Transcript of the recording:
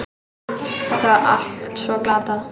Þetta var allt svo glatað.